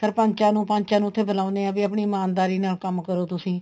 ਸਰਪੰਚਾ ਨੂੰ ਪੰਚਾ ਨੂੰ ਉੱਥੇ ਬੁਲਾਣੇ ਹੈ ਵੀ ਆਪਣੀ ਇਮਾਨਦਾਰੀ ਨਾਲ ਕੰਮ ਕਰੋ ਤੁਸੀਂ